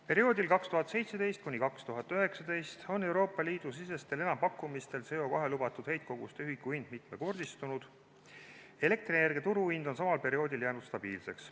Perioodil 2017–2019 on Euroopa Liidu sisestel enampakkumistel CO2 lubatud heitkoguste ühiku hind mitmekordistunud, elektrienergia turuhind on samal perioodil jäänud stabiilseks.